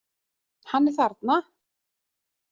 Hann er þarna!